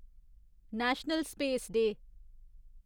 national space day